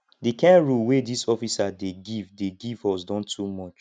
the kind rule wey this officer dey give dey give us don too much